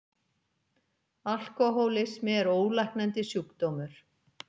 Alkohólismi er ólæknandi sjúkdómur.